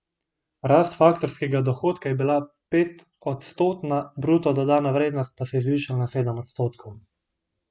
Rast faktorskega dohodka je bila petodstotna, bruto dodana vrednost pa se je zvišala za sedem odstotkov.